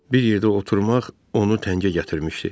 Bir yerdə oturmaq onu təngə gətirmişdi.